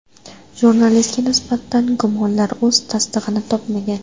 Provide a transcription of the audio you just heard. Jurnalistga nisbatan gumonlar o‘z tasdig‘ini topmagan.